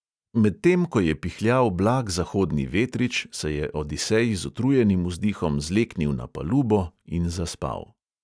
Medtem ko je pihljal blag zahodni vetrič, se je odisej z utrujenim vzdihom zleknil na palubo in zaspal.